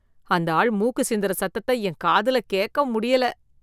அந்த ஆள் மூக்கு சிந்தற சத்தத்த என் காதுல கேக்க முடியல.